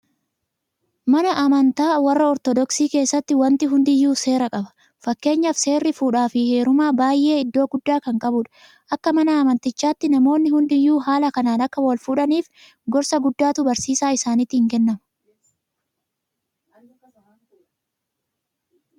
Mana amantaa warra Ortodoksii keessatti waanti hundiyyuu seera qaba. Fakkeenyaaf seerri fuudhaafi heerumaa baay'ee iddoo guddaa kan qabudha. Akka mana amantichaatti namoonni hundiyyuu haala kanaan akka walfuudhaniif gorsa guddaatu barsiisa isaaniitiin kennama.